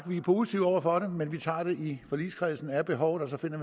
vi positive over for det men vi tager det i forligskredsen er behovet der finder